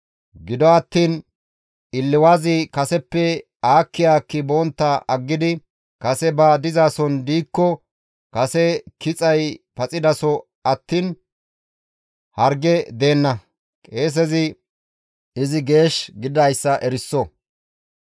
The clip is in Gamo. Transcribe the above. Gido attiin illiwazi kaseppe aakki aakki bontta aggidi kase ba dizason diikko kase kixay paxidaso attiin harge deenna; qeesezi izi geesh gididayssa eriso.